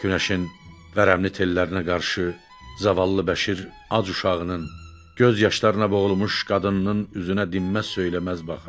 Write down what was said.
Günəşin vərəmli tellərinə qarşı zavallı Bəşir ac uşağının, göz yaşlarına boğulmuş qadınının üzünə dinməz-söyləməz baxırdı.